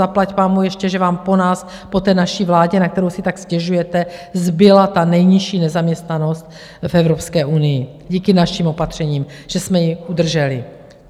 Zaplať pánbůh, ještě že vám po nás, po té naší vládě, na kterou si tak stěžujete, zbyla ta nejnižší nezaměstnanost v Evropské unii díky našim opatřením, že jsme ji udrželi.